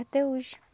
Até hoje.